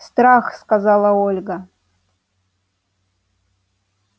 страх сказала ольга